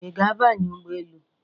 I ga abanye ụgbọ elu?